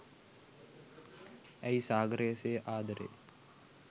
ඇයි සාගරය සේ ආදරේ